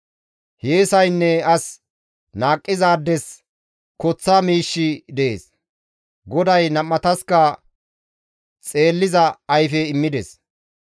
Hiyeesaynne as naaqqizaades koththa miishshi dees; GODAY nam7ataska xeelliza ayfe immides.